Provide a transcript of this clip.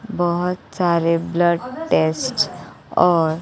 बहोत सारे blood test और--